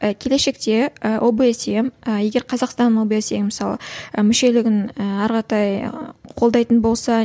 і келешекте і обсе і егер қазақстан обсе мысалы мүшелігін ііі ары қаратай қолдайтын болса